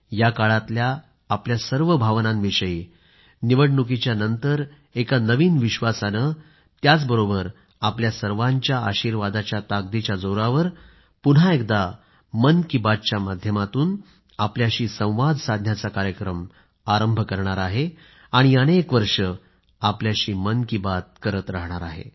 या काळातल्या आपल्या सर्व भावनांविषयी निवडणुकीच्या नंतर एका नवीन विश्वासाने त्याचबरोबर आपल्या सर्वांच्या आशीर्वादाच्या ताकदीच्या जोरावर पुन्हा एकदा मन की बातच्या माध्यमातून आपल्याशी संवाद साधण्याचा कार्यक्रम आरंभ करणार आहे आणि अनेक वर्षे आपल्याशी मन की बात करीत राहणार आहे